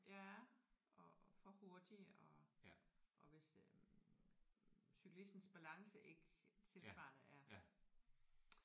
Ja og og for hurtige og og hvis øh cyklistens balance ikke tilsvarende er